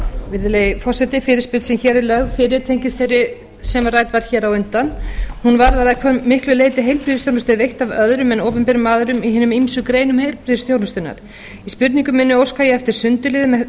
virðulegi forseti fyrirspurn sem hér er lögð fyrir tengist þeirri sem rædd var hér á undan hún varðar að hvað miklu leyti heilbrigðisþjónusta er veitt af öðrum en opinberum aðilum í hinum ýmsu greinum heilbrigðisþjónustunnar í spurningu minni óska ég eftir sundurliðun